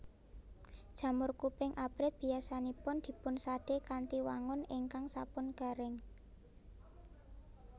Jamur kuping abrit biyasanipun dipunsadé kanthi wangun ingkang sampun garing